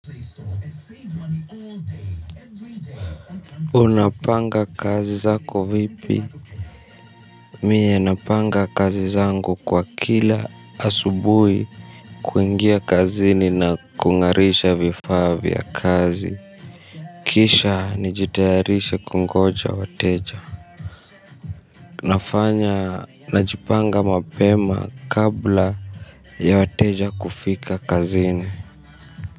Unapanga kazi zako vipi? Mie napanga kazi zangu, kwa kila asubuhi, kuingia kazini na kung'arisha vifaa vya kazi. Kisha nijitayarishe kungoja wateja. Unafanya najipanga mapema kabla ya wateja kufika kazini.